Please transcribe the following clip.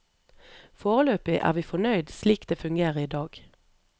Foreløpig er vi fornøyd slik det fungerer i dag.